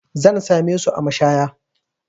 Zan same su a mashaya.